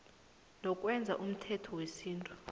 nokwenza umthetho wesintu